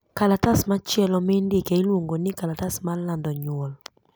Kalatas machielo mi ndike iluongo ni kalatas mar lando nyuol